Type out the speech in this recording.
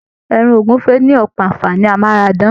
Ẹran ogúnfe ni ọpọ anfààní amárádán.